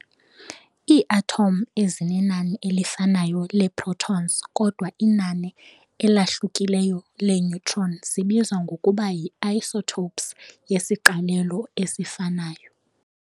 Iiathom ezinenani elifanayo leeprotons kodwa inani elahlukileyo lee-neutron zibizwa ngokuba yi-isotopes yesiqalelo esifanayo.